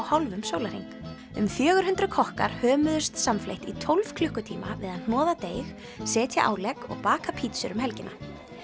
hálfum sólarhring um fjögur hundruð kokkar hömuðust samfleytt í tólf klukkutíma við að hnoða deig setja álegg og baka pítsur um helgina